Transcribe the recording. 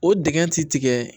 O dingɛ ti tigɛ